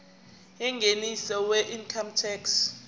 yengeniso weincome tax